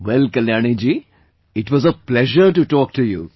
Well Kalyani ji, it was a pleasure to talk to you